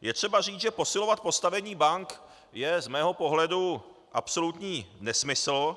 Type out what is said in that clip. Je třeba říct, že posilovat postavení bank je z mého pohledu absolutní nesmysl,